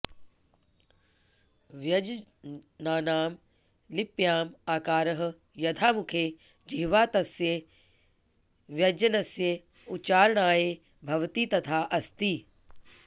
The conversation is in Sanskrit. व्यञ्जनानां लिप्यां आकारः यथा मुखे जिह्वा तस्य व्यञ्जनस्य उच्चारणाय भवति तथा अस्ति